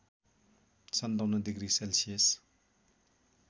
५७ degree Celsius